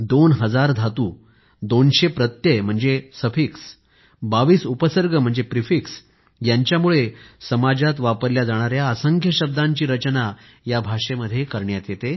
दोन हजार धातु दोनशे प्रत्यय म्हणजे सफिक्स 22 उपसर्ग म्हणजे प्रिफिक्स यांच्यामुळे समाजात वापरल्या जाणाऱ्या असंख्य शब्दांची रचना या भाषेमध्ये करता येते